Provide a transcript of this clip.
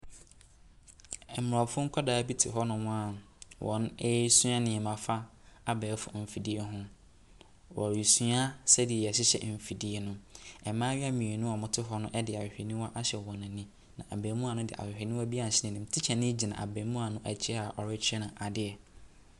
Aborɔfo nkwadaa bi te hɔnom a wɔresua nneɛma fa abɛɛfo mfidie ho. Wɔresua sɛdeɛ yɛhyehyɛ mfidie no. Mmayewa mmienu a wɔte hɔ no de ahwehwɛniwa ahyɛ wɔn ani, na abaamua no de ahwehwɛniwa bi a asɛn tikyani gyina abaamua no akyi a ɔrekyerɛ no adeɛ.